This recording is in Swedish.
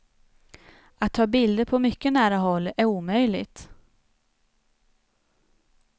Att ta bilder på mycket nära håll är omöjligt.